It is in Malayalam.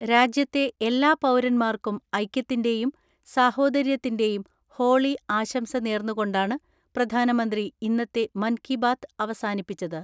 രാജ്യത്തെ എല്ലാ പൗരന്മാർക്കും ഐക്യത്തിന്റെയും സാഹോദര്യത്തിന്റെയും ഹോളി ആശംസ നേർന്നു കൊണ്ടാണ് പ്രധാനമന്ത്രി ഇന്നത്തെ മൻ കിബാദ് അവസാനിപ്പിച്ചത്.